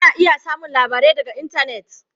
Ana iya samun labarai daga intanet.